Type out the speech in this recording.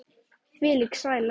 Þvílík sæla.